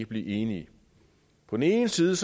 blive enige på den ene side